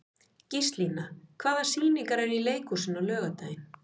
Gíslína, hvaða sýningar eru í leikhúsinu á laugardaginn?